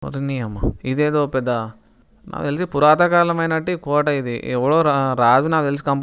ఓరి నీ అమ్మ ఇదేదో పెద్ద నాకు తెలిసి పురాతకలమైనట్టి కోట ఇది ఎవరో రా రాజు నాకు తెలిసి కం--